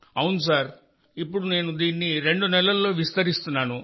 అవును సార్ఇప్పుడు నేను దీన్ని రెండు నెలల్లో విస్తరిస్తున్నాను